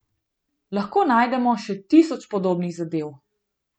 Lahko najdemo še tisoč podobnih zadev.